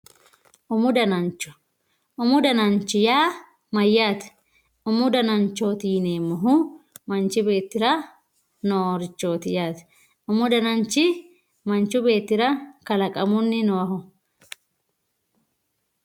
umu danacho umu danachi yaa mayyaate umu dananchooti yineemmohu manchi beettira noorichooti yaate umu dananchi manchi beettira kalaqamunni noohu